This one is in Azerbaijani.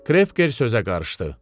Krefker sözə qarışdı.